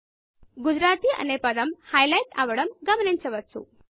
Gujaratiగుజరాతీ అనే పదము హైలైట్ అవడం గమనించవచ్చు